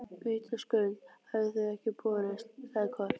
Vitaskuld hafa þau ekki borist, sagði Kort.